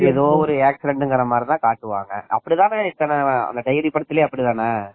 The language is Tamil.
: ஏதோ ஒரு accident மாரிதான் காட்டுவாங்க அந்த டைரி படத்திலேயே அப்படித்தானே தெரியாது